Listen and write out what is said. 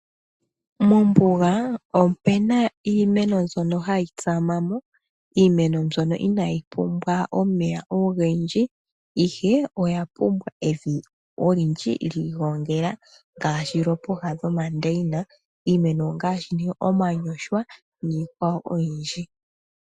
Mombuga omu na iimeno mbyono hayi tsama mo, iimeno mbyono inaayi pumbwa omeya ogendji ihe oya pumbwa evi olindji lyiilogongela ngaashi lyopooha lyomandeyina. Iimeno ongaashi ne omanyoshwa niikwawo oyindji.